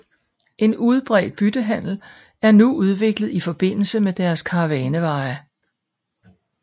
En udbredt byttehandel er udviklet i forbindelse med deres karavaneveje